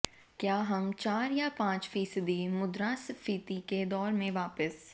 क्या हम चार या पांच फीसदी मुद्रास्फीति के दौर में वापस